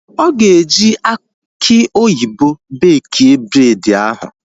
Ọ ga-eji aki oyibo bekie bred ahu